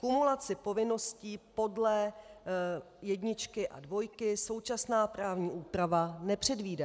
Kumulaci povinností podle jedničky a dvojky současná právní úprava nepředvídá.